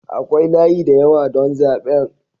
Akwai layi da yawa don zaben.